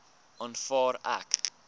aanvaar ek